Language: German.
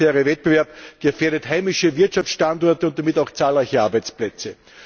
Der unfaire Wettbewerb gefährdet heimische Wirtschaftsstandorte und damit auch zahlreiche Arbeitsplätze.